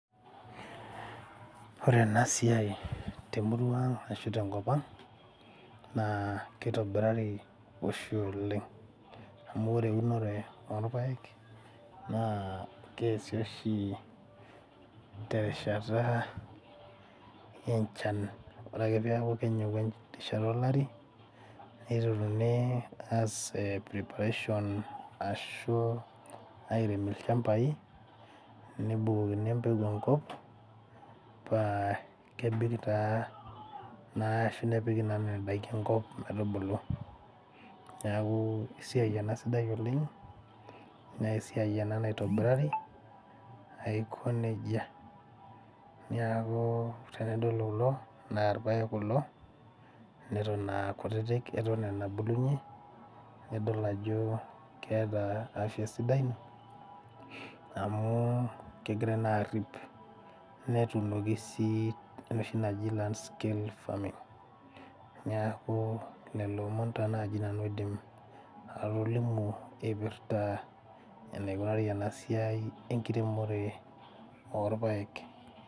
Ore ena siai temurua ang ashu tenkop ang naa keitobirari oshi oleng amu ore eunore orpayek naa keesi oshi te rishata enchan ore ake peeku kenyiku erishata olari niteruni aas eh preparation ashu airem ilchambai nebukokini empeku enkop paa kebik taa naa ashu nepiki nana daiki enkop metubulu niaku esiai ena sidai oleng nesiai ena naitobirari aiko nejia niaku tenadol kulo naa irpayek kulo neton akutitik eton aa enabulunyie nidol ajo keeta afya sidai amu kegirae naa arrip netunoki sii enoshi naji landscale farming niaku lelo omon taa naaji nanu aidim atolimu eipirta eneikunari ena siai enkiremore orpayek.